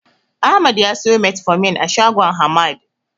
Ahmad ya siyo Metformin a shagon Hamad.